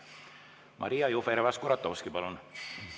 Maria Jufereva-Skuratovski, palun!